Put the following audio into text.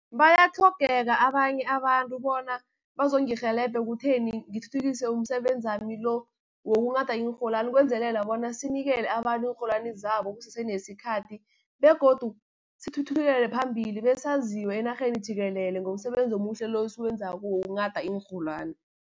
Bayatlhogeka abanye abantu bona bazongirheleba ekutheni ngithuthukise umsebenzi wami lo, wokunghada iinrholwani, ukwenzelela bona sinikele abantu iinrholwani zabo kusese nesikhathi, begodu sithuthukele phambili besaziwe enarheni jikelele ngomsebenzi omuhle lo, esiwenzako wokunghada iinrholwani.